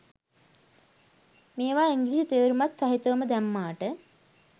මේවා ඉංග්‍රිසි තේරුමත් සහිතවම දැම්මාට